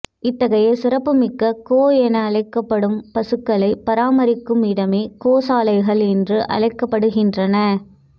இத்தகைய சிறப்புமிக்க கோ என்று அழைக்கப்படும் பசுக்களை பராமரிக்கும் இடமே கோசாலைகள் என்று அழைக்கப்படுகின்றன